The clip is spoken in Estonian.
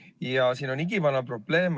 Ja siin on igivana probleem.